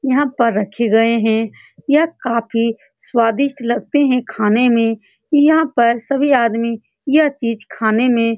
यहाँ पर रखे गए है यह काफी स्वादिष्ट लगते है खाने में यहाँ पर सभी आदमी यह चीज खाने में --